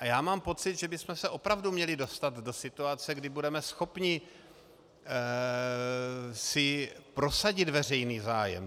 A já mám pocit, že bychom se opravdu měli dostat do situace, kdy budeme schopni si prosadit veřejný zájem.